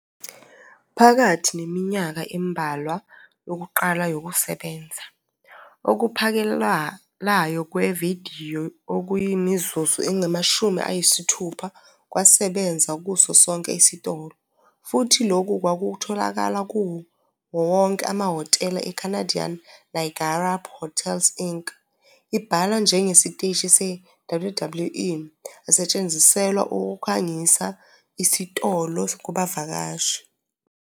Phakathi neminyaka embalwa yokuqala yokusebenza, okuphakelayo kwevidiyo okuyimizuzu engamashumi ayisithupha kwasebenza kuso sonke isitolo, futhi lokhu kwakutholakala kuwo wonke amahhotela e-Canadian Niagara Hotels Inc. abhalwe njengesiteshi se-WWE - asetshenziselwa ukukhangisa isitolo kubavakashi.